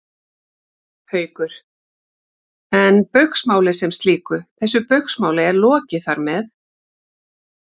Haukur: En Baugsmáli sem slíku, þessu Baugsmáli er lokið þar með?